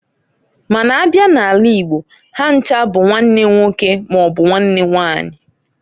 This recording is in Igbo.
Ma n'a bia n'ala igbo ha ncha bu nwanne nwoke maọbụ nwanne nwanyị.